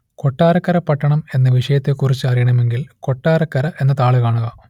കൊട്ടാരക്കര പട്ടണം എന്ന വിഷയത്തെക്കുറിച്ച് അറിയണമെങ്കിൽ കൊട്ടാരക്കര എന്ന താൾ കാണുക